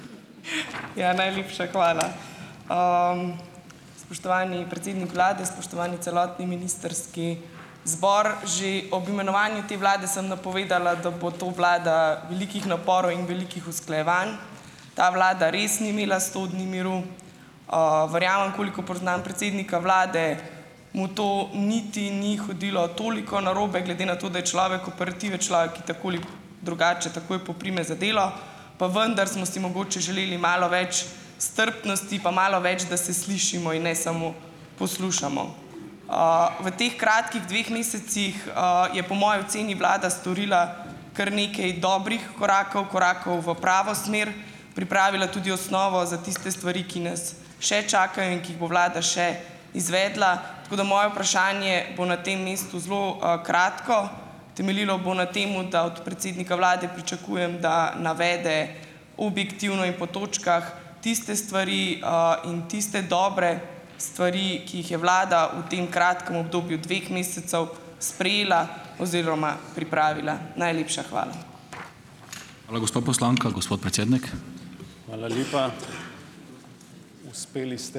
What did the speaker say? Ja, najlepša hvala. Spoštovani predsednik vlade, spoštovani celotni ministrski zbor! Že ob imenovanju te vlade sem napovedala, da bo to vlada velikih naporov in velikih usklajevanj. Ta vlada res ni imela sto dni miru. Verjamem, koliko poznam predsednika vlade, mu to niti ni hodilo toliko narobe, glede na to, da je človek operative, človek, ki tako ali drugače takoj poprime za delo. Pa vendar smo si mogoče želeli malo več strpnosti, pa malo več, da se slišimo in ne samo poslušamo. V teh kratkih dveh mesecih je, po moji oceni, vlada storila kar nekaj dobrih korakov, korakov v pravo smer, pripravila tudi osnovo za tiste stvari, ki nas še čakajo in ki jih bo vlada še izvedla. Tako da moje vprašanje bo na tem mestu zelo kratko. Temeljilo bo na tem, da od predsednika vlade pričakujem, da navede objektivno in po točkah tiste stvari in tiste dobre stvari, ki jih je vlada v tem kratkem obdobju dveh mesecev sprejela oziroma pripravila. Najlepša hvala.